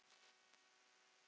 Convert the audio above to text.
Verin beri að vernda.